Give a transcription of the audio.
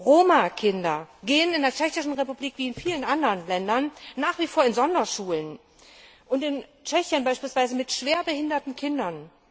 Roma Kinder gehen in der Tschechischen Republik wie in vielen anderen Ländern nach wie vor in Sonderschulen und in Tschechien beispielsweise mit schwerbehinderten Kindern!